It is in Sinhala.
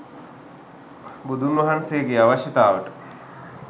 බුදුන් වහන්සේගේ අවශ්‍යතාවට